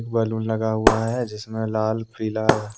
balloon लगा हुआ है जिसमें लाल पीला--